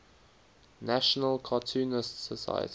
national cartoonists society